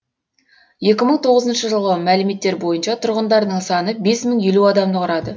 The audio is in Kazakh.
екі мың тоғызыншы жылғы мәліметтер бойынша тұрғындарының саны бес мың елу адамды құрады